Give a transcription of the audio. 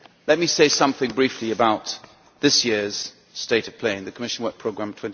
Let me say something briefly about this year's state of play and the Commission Work Programme